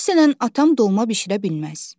Məsələn, atam dolma bişirə bilməz.